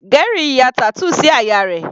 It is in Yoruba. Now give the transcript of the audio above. Gary ya tattoo sí àyà rẹ̀.